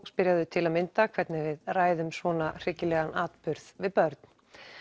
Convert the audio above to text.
spyrja þau til að mynda hvernig við ræðum svona atburð við börn